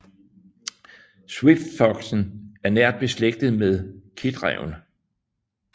Swiftfoxen er nært beslægtet med kitræven